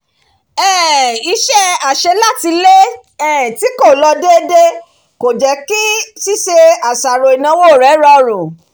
um iṣẹ́ àṣelátilé tí kò um lọ déédéé kò jẹ́ kí ṣíṣe àṣàrò ìnáwó rẹ̀ rọrùn